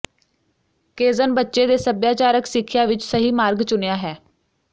ਕੇਜ਼ਨ ਬੱਚੇ ਦੇ ਸੱਭਿਆਚਾਰਕ ਸਿੱਖਿਆ ਵਿਚ ਸਹੀ ਮਾਰਗ ਚੁਣਿਆ ਹੈ